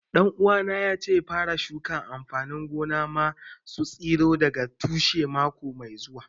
Ɗan uwana ya ce zai fara shuka amfanin gona ma su tsiro daga tushe mako mai zuwa